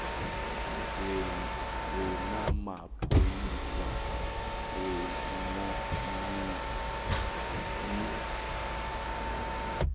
ye namapholisa wemmoyeni